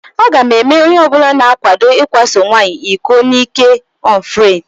Aga m eme onyeọbụla na-akwado ikwaso nwaanyị iko n'ị́kè ọnfrendi.